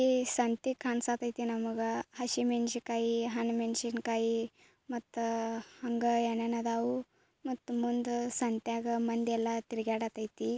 ಈ ಸಂತೆ ಕಾಣ್ಸಾಕತ್ತೈತಿ ನಮಗ ಹಸಿಮೆಣಸಿನಕಾಯಿ ಹಣ್ ಮೆಣಸಿನಕಾಯಿ ಮತ್ತ ಅಂಗ ಏನ್ ಏನ್ ಅದಾವು ಮತ್ತು ಮುಂದು ಸಂತ್ಯಾಗ ಮಂದಿಯಲ್ಲ ತಿರುಗಾಡಕತ್ತೈತಿ